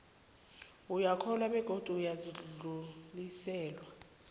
uyokuhlolwa begodu uzakudluliselwa